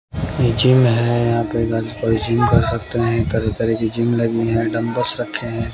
ये जिम है यहा पे तरह तरह के जिम लगी है डंबल्स रखे है।